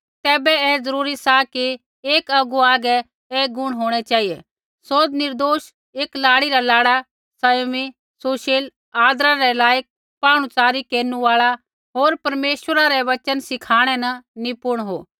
तैबै ऐ ज़रूरी सा कि एक अगुवा हागै ऐ गुण होंणै चेहिऐ सौ निर्दोष एकी लाड़ी रा लाड़ा सँयमी सुशील आदरा रै लायक पाहुणच़ारै केरनु आल़ा होर परमेश्वरा रा वचन सिखाणै न निपुण हो